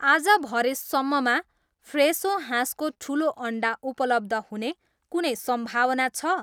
आज भरे सम्ममा फ्रेसो हाँसको ठुलो अन्डा उपलब्ध हुने कुनै सम्भावना छ?